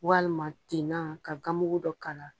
Walima tenna ka ganmugu dɔ k'a la.